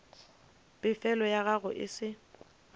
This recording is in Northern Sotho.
pefelo ya gago e se